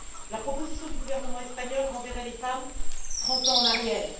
La proposition du gouvernement espagnol renverrait les femmes trente ans en arrière.